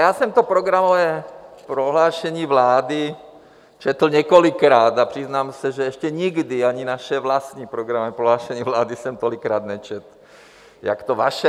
Já jsem to programové prohlášení vlády četl několikrát a přiznám se, že ještě nikdy ani naše vlastní programové prohlášení vlády jsem tolikrát nečetl jako to vaše.